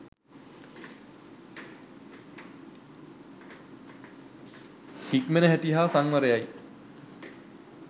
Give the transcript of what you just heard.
හික්මෙන හැටි හා සංවරයයි.